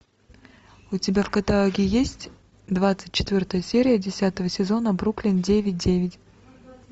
у тебя в каталоге есть двадцать четвертая серия десятого сезона бруклин девять девять